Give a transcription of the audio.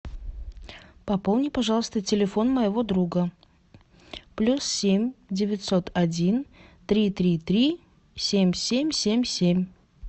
пополни пожалуйста телефон моего друга плюс семь девятьсот один три три три семь семь семь семь